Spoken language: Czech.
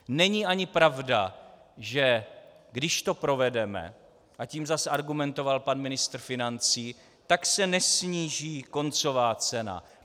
Není ani pravda, že když to provedeme, a tím zas argumentoval pan ministr financí, tak se nesníží koncová cena.